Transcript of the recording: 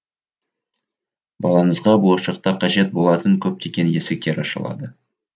балаңызға болашақта қажет болатын көптеген есіктер ашылады